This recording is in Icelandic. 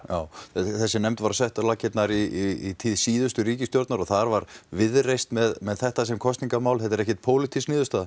þessi nefnd var sett á laggirnar í tíð síðustu ríkisstjórnar og þar var Viðreisn með þetta sem kosningamál þetta er ekkert pólítísk niðurstaða